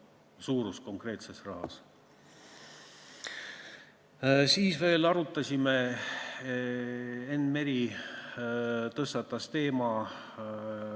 Enn Meri tõstatas ühe teema.